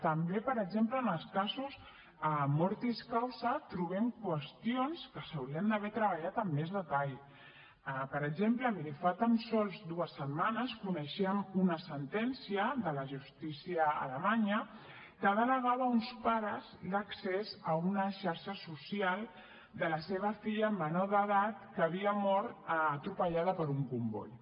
també per exemple en els casos mortis causaper exemple miri fa tan sols dues setmanes coneixíem una sentència de la justícia alemanya que denegava a uns pares l’accés a una xarxa social de la seva filla menor d’edat que havia mort atropellada per un comboi